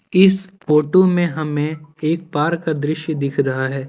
इस फोटो में हमें एक पार्क दृश्य दिख रहा हैं।